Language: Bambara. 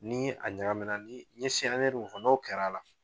Ni a ɲagamina ni n ye mun fɔ, n'o kɛra a la